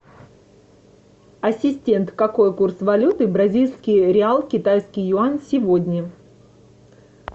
ассистент какой курс валюты бразильский реал китайский юань сегодня